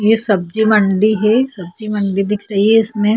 ये सब्जी मंडी हे सब्जी मंडी दिख रही हैं इसमें--